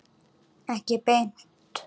Ekki beint